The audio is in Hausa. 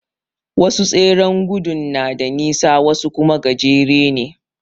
Wasu tseren gudun na da nisa wasu kuma gajere ne.